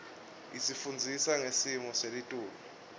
isifundzisa ngesimo selitulu